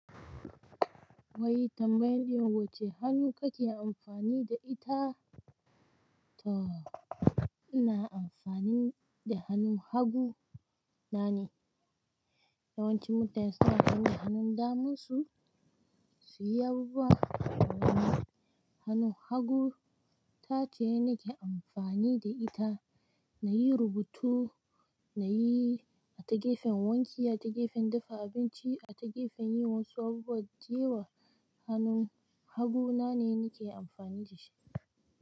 Wai tambayan wace hannu kake amfani da ita. To ina amfani da hannun hagu na ne. Yawanci mutane suna amfani da hannun daman su, su yi abubuwa. Hannun hagu tace nike amfani da ita nayi rubutu, a ta gefen wanki, a ta gefen dafa abinci, a te gefen yin wasu abubuwa. Jiya hannun hagu na ne nike amfani da shi.